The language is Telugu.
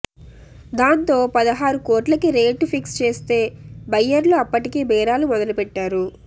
దాంతో పదహారు కోట్లకి రేటు ఫిక్స్ చేస్తే బయ్యర్లు అప్పటికీ బేరాలు మొదలు పెట్టారు